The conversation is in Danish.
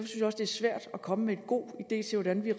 svært at komme med en god idé til hvordan vi